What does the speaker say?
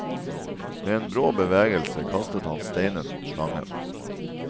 Med en brå bevegelse kastet han steinen mot slangen.